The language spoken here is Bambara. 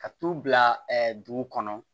Ka t'u bila dugu kɔnɔ